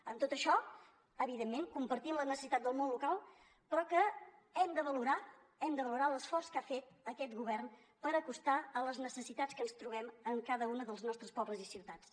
amb tot això evidentment compartim la necessitat del món local però hem de valorar hem de valorar l’esforç que ha fet aquest govern per acostar les necessitats que ens trobem en cada un dels nostres pobles i ciutats